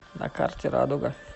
на карте радуга